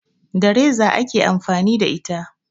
Da reza ake amfani da ita